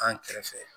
An kɛrɛfɛ